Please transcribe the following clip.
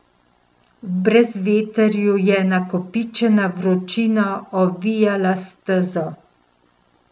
V brezvetrju je nakopičena vročina ovijala stezo.